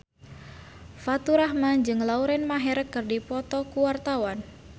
Faturrahman jeung Lauren Maher keur dipoto ku wartawan